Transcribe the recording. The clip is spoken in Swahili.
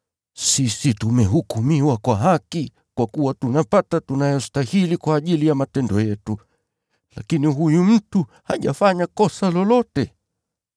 Sisi tumehukumiwa kwa haki kwa kuwa tunapata tunayostahili kwa ajili ya matendo yetu. Lakini huyu mtu hajafanya kosa lolote.”